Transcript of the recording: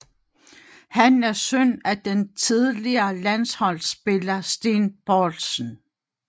Han er søn af den tidligere landsholdsspiller Steen Boldsen